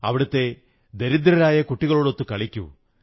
അവിടത്തെ ദരിദ്രരായ കുട്ടികളോടൊത്തു കളിക്കൂ